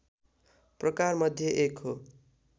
प्रकार मध्ये एक हो।